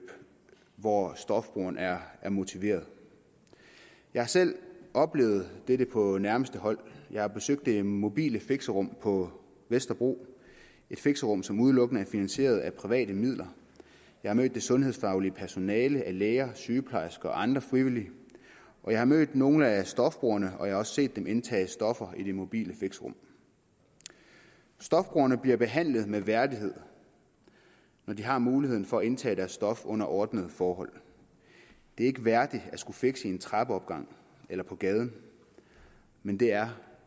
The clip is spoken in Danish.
hvor stofbrugeren er motiveret jeg har selv oplevet dette på nærmeste hold jeg har besøgt det mobile fixerum på vesterbro et fixerum som udelukkende er finansieret af private midler jeg har mødt det sundhedsfaglige personale af læger sygeplejersker og andre frivillige og jeg har mødt nogle af stofbrugerne og jeg har også set dem indtage stoffer i det mobile fixerum stofbrugerne bliver behandlet med værdighed når de har muligheden for at indtage deres stof under ordnede forhold det er ikke værdigt at skulle fixe i en trappeopgang eller på gaden men det er